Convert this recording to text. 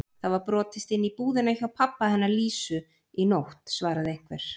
Það var brotist inn í búðina hjá pabba hennar Lísu í nótt svaraði einhver.